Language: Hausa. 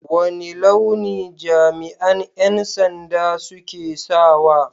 Wane launi jami'an 'yan sanda suke sawa?